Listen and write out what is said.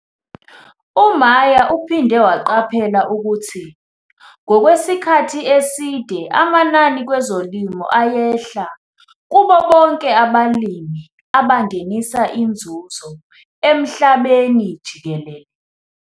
U-Meyer uphinde waqaphela ukuthi ngokwesikhathi eside amanani kwezolimo ayehla kubo bonke abalimi abangenisa inzuzo emhlabeni jikelele.